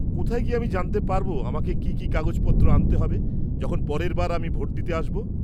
কোথায় গিয়ে আমি জানতে পারব আমাকে কি কি কাগজপত্র আনতে হবে যখন পরের বার আমি ভোট দিতে আসব?